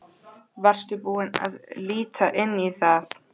Varstu búinn að líta inn í það?